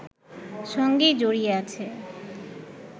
সঙ্গেই জড়িয়ে আছে